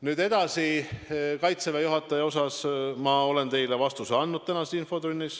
Nüüd edasi, Kaitseväe juhataja kohta olen ma teile tänases infotunnis juba vastuse andnud.